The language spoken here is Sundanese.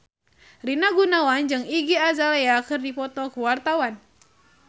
Rina Gunawan jeung Iggy Azalea keur dipoto ku wartawan